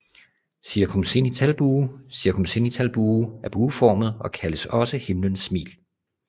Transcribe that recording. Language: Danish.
Circumzenithalbue Circumzenithalbue er bueformet og kaldes også Himlens smil